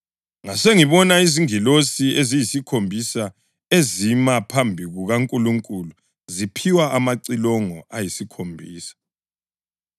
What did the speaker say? Ngasengibona izingilosi eziyisikhombisa ezima phambi kukaNkulunkulu ziphiwa amacilongo ayisikhombisa.